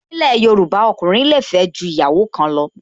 Ni ilẹ̀ Yorùbá, ọkùnrin le fẹ́ ju ìyàwó kan lọ